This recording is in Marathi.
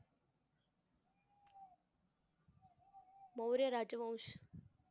मौर्य राजवंश